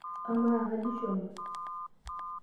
Amaa, kaji ishomo/